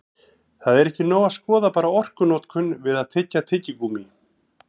Þó er ekki nóg að skoða bara orkunotkun við að tyggja tyggigúmmí.